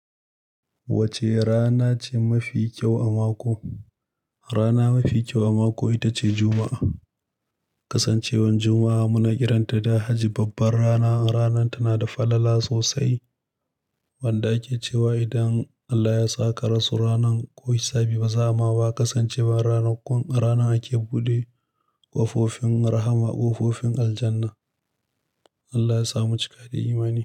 Wace rana ce mafi kyau a mako? Rana mafi kyau a mako ita ce Juma'a. Kasancewar Juma'a muna kiranta da Hajji babbar rana. Ranar tana da falala sosai. Wanda ake cewa idan Allah ya sa ka rasu ranan, ko hisabi baza'a ma ba kasancewar rana kun, ranan ake buɗe ƙofofin rahma, ƙofofin aljanna. Allah ya samu cika da imani.